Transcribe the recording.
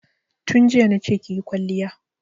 Tun jiya na ce ki yi kwalliya!